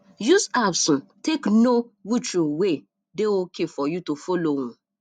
use apps um take know which um way dey okay for you to follow um